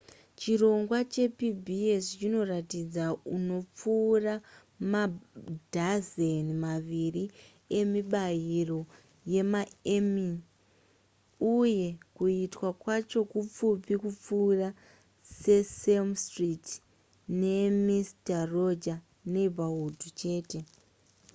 chirongwa chepbs chinoratidza anopfuura madhazeni maviri emibairo yemaemmy uye kuitwa kwacho kupfupi kupfuura sesame street ne mister rogers neighborhood chete